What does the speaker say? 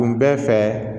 Kun bɛɛ fɛ